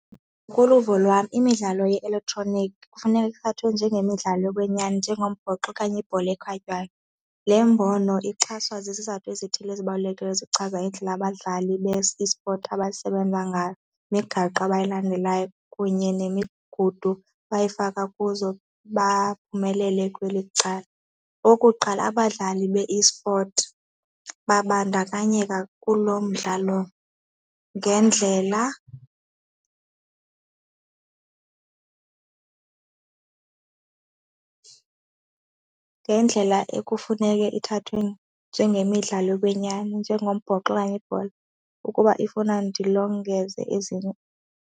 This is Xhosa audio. Ngokoluvo lwam imidlalo ye-elektroniki kufuneka ithathwe njengemidlalo yokwenyani njengombhoxo okanye ibhola ekhatywayo. Le mbono ixhaswa zizathu ezithile ezibalulekileyo ezichaza indlela abadlali be-esport abasebenza ngayo imigaqo abayilandelayo kunye nemigudu bayoyifaka kuzo baphumelele kweli cala. Okuqala, abadlali be-esport babandakanyeka kulo mdlalo ngendlela ngendlela ekufuneke ithathwe njengemidlalo yokwenyani, njengombhoxo okanye ibhola ukuba ifuna ndilongeze ezinye.